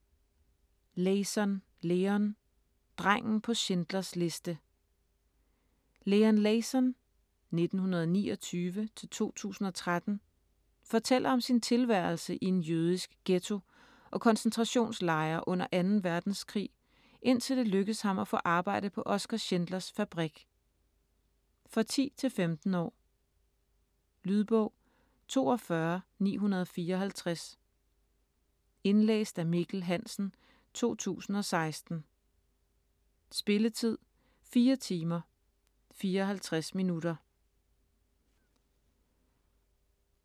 Leyson, Leon: Drengen på Schindlers liste Leon Leyson (1929-2013) fortæller om sin tilværelse i en jødisk ghetto og koncentrationslejre under 2. verdenskrig, indtil det lykkes ham at få arbejde på Oskar Schindlers fabrik. For 10-15 år. Lydbog 42954 Indlæst af Mikkel Hansen, 2016. Spilletid: 4 timer, 54 minutter.